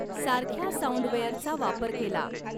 सारख्या साउंडवेअरचा वापर केला.